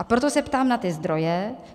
A proto se ptám na ty zdroje.